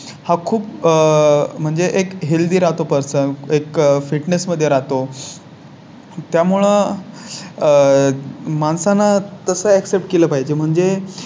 हा खूप आह म्हणजे एक Healthy राहतो पासून एक Fitness मध्ये राहतो. त्यामुळे आह माणसांना तसं Set केलं पाहिजे म्हणजे